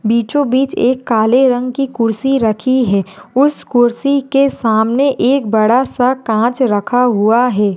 बीचों बीच एक काले रंग की कुर्सी रखी है उस कुर्सी के सामने एक बड़ा सा कांच रखा हुआ है।